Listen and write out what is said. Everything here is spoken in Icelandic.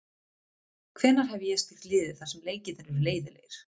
Hvenær hef ég stýrt liði þar sem leikirnir eru leiðinlegir?